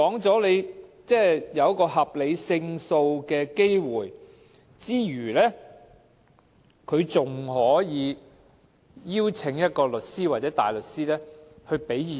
在考慮合理勝訴機會之餘，該署還可以邀請律師或大律師提供意見。